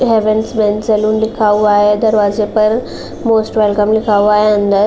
haven men's salon लिखा हुआ है दरवाज़े पर मोस्ट वेलकम लिखा हुआ है --